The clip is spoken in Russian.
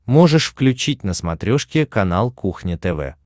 можешь включить на смотрешке канал кухня тв